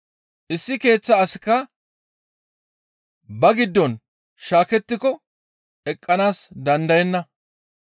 Issi keeththa asikka ba giddon shaakettiko eqqanaas dandayenna.